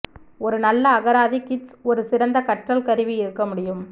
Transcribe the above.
ஒரு நல்ல அகராதி கிட்ஸ் ஒரு சிறந்த கற்றல் கருவி இருக்க முடியும்